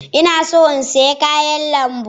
Ina so in saya kayan lambu.